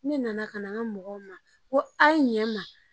Ne nana ka na n ka mɔgɔw ma ko a ye ɲɛ n ma